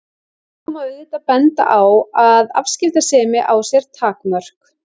Þarna má auðvitað benda á að afskiptasemi á sér takmörk.